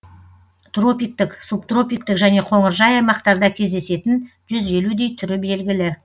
тропиктік субтропиктік және қоңыржай аймақтарда кездесетін жүз елудей түрі белгілі